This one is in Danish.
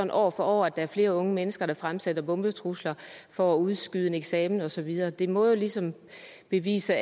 år for år at der er flere unge mennesker der fremsætter bombetrusler for at udskyde en eksamen og så videre det må jo ligesom bevise